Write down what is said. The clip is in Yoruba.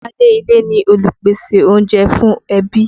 Báálé ilé ni olùpèsè oúnjẹ fún ẹbí.